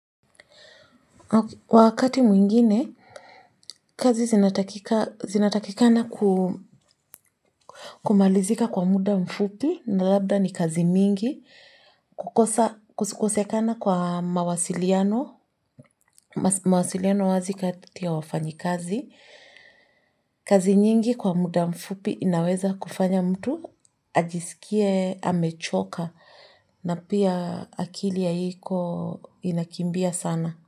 Wakati mwingine, kazi zinatakika zinatakikana kumalizika kwa muda mfupi na labda ni kazi mingi, kukosa kukosekana kwa mawasiliano, mawasiliano wazi kati ya wafanyikazi. Kazi nyingi kwa muda mfupi inaweza kufanya mtu, ajiskie, amechoka, na pia akili haiko inakimbia sana.